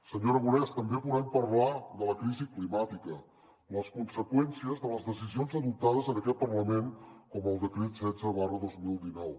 senyor aragonès també volem parlar de la crisi climàtica de les conseqüències de les decisions adoptades en aquest parlament com el decret setze dos mil dinou